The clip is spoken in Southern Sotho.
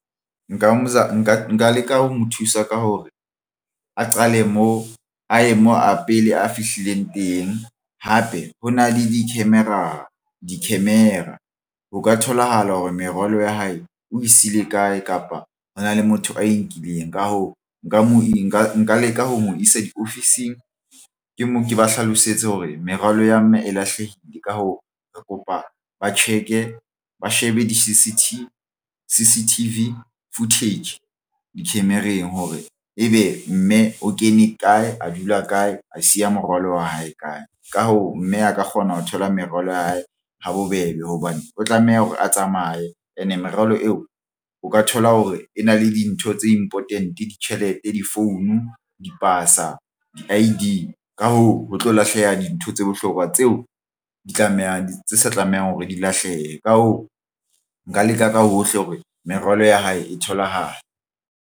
Nka leka ho mo thusa ka hore a qale moo a ye moo a pele a fihlileng teng. Hape, ho na le di-camera ho ka tholahala hore merwalo ya hae o e sile kae kapa hona le motho a e nkileng. Ka hoo, nka mo e nka nka leka ho mo isa diofising ke moo ke ba hlalosetse hore merwalo ya mme e lahlehile. Ka hoo, re kopa ba check-e ba shebe di-C_C_T_V footage dikhemereng hore ebe mme o kene kae, a dula kae, a siya morwalo wa hae kae? Ka hoo, mme a ka kgona ho thola merwalo ya hae ha bobebe hobane o tlameha hore a tsamaye and merwalo eo, o ka thola hore e na le dintho tse important ditjhelete difounu dipasa di-I_D. Ka hoo, ho tlo lahleha dintho tse bohlokwa tseo di tlamehang tse sa tlamehang hore di lahlehe. Ka hoo, nka leka ka hohle hore merwalo ya hae e tholahale.